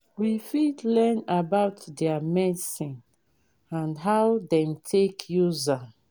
we fit learn about their medicine and how dem take use am